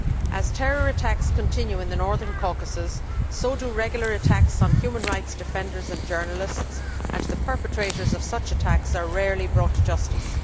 As terror attacks continue in the Northern Caucasus so too do regular attacks on human rights defenders and journalists, and the perpetrators of such attacks are rarely brought to justice.